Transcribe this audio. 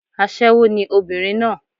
Aṣẹ́wó ni obìnrin náà